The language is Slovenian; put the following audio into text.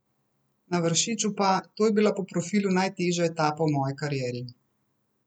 Na Vršiču pa: 'To je bila po profilu najtežja etapa v moji karieri.